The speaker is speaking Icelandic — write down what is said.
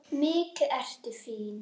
Síðan gekk Þórir út.